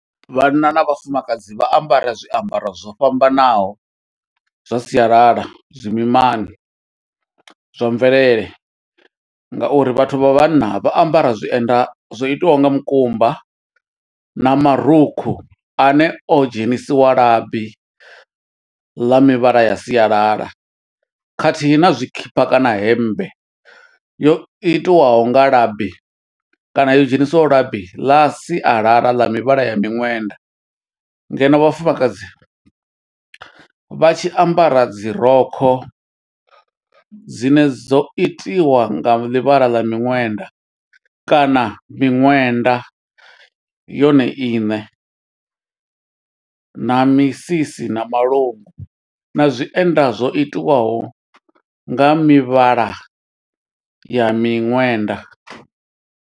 Vhanna na vhafumakadzi vha ambara zwiambaro zwo fhambanaho, zwa sialala zwimimani zwa mvelele, nga uri vhathu vha vhanna vha ambara zwienda zwo itiwaho nga mukumba, na marukhu ane o dzhenisiwa labi ḽa mivhala ya sialala. Khathihi na zwikhipha kana hemmbe, yo itiwaho nga labi kana yo dzhenisiwa labi ḽa sialala, ḽa mivhala ya miṅwenda. Ngeno vhafumakadzi, vha tshi ambara dzi rokho dzine dzo itiwa nga ḽivhala ḽa miṅwenda, kana miṅwenda yone iṋe, na misisi na malungu, na zwienda zwo itiwaho nga mivhala ya miṅwenda.